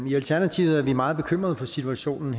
i alternativet er vi meget bekymret for situationen